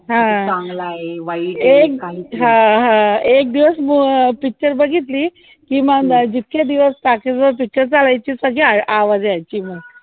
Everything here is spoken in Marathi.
अं अं एक दिवस picture बघितली कि मग अ जितके दिवस talkies वर picture चालायची सगळी आवाज देयची मग